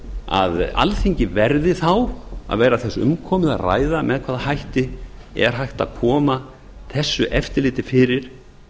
að alþingi verði þá að vera þess umkomið að ræða með hvaða hætti er hægt að koma þessu eftirliti fyrir